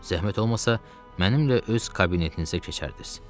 Zəhmət olmasa, mənimlə öz kabinetinizə keçərdiniz.